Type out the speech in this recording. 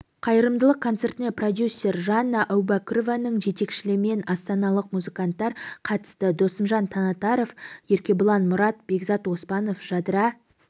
қайырымдылық концертіне продюсер жанна әубәкірованың жетекшілігімен астаналық музыканттар қатысты досымжан таңатаров еркебұлан мұрат бекзат оспанов жадыра